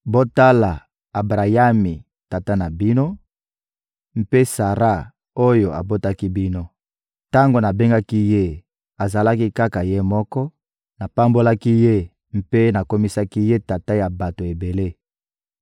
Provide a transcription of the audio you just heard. Botala Abrayami, tata na bino; mpe Sara oyo abotaki bino. Tango nabengaki ye, azalaki kaka ye moko; napambolaki ye mpe nakomisaki ye tata ya bato ebele!